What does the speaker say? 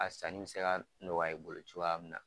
A sanni bi se ka nɔgɔya bolo cogoya min na.